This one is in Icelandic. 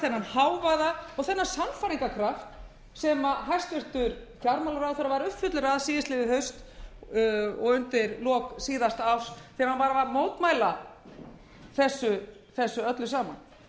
hávaða og þennan sannfæringarkraft sem hæstvirtur fjármálaráðherra var uppfullur af síðastliðið haust og undir lok síðasta árs þegar hann var að mótmæla þessu öllu saman